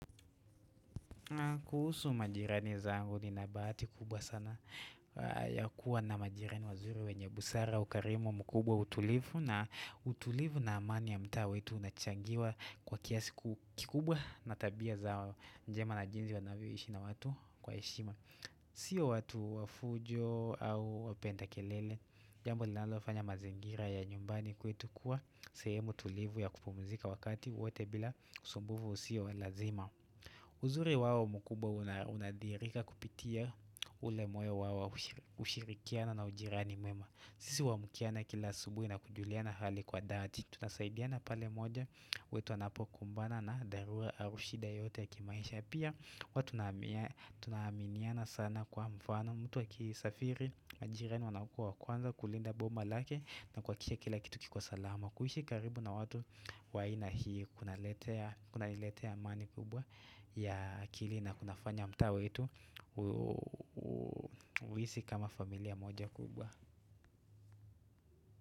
Kuhusu majirani zangu nina bahati kubwa sana ya kuwa na majirani wazuri wenye busara ukarimu mkubwa utulivu na utulivu na amani ya mtaa wetu unachangiwa kwa kiasi kikubwa na tabia za njema na jinsi wanavyo ishi na watu kwa heshima Sio watu wa fujo au wapenda kelele, jambo linalofanya mazingira ya nyumbani kwetu kuwa sehemu tulivu ya kupumzika wakati wote bila kusumbuvu usio lazima uzuri wao mkubwa unadhihirika kupitia ule moyo wao wa ushirikiana na ujirani mwema sisi huamkiana kila asubuhi na kujuliana hali kwa dhati Tunasaidiana pale moja wetu anapokumbana na dharua au shida yote ya kimaisha Pia huwa tunaaminiana sana kwa mfano mtu akisafiri na jirani wanakua wa kwanza kulinda boma lake na kuhakikisha kila kitu kiko salama kuhishi karibu na watu wa aina hii kunani letea amani kubwa ya akili na kunafanya mtaa wetu uhisi kama familia moja kubwa.